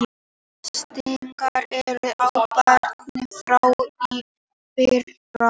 Breytingar eru áberandi frá í fyrra